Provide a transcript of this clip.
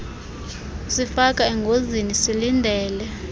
kusifaka engozini silindele